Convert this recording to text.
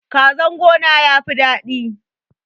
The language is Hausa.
Kazan gona yafi dadi